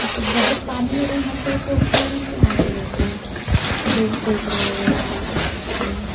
तो बतख पानी में रहना चाहिए तो ऊपर में क्यों आके बैठा है धूप सेक रहा होगा बेचारा हम्म --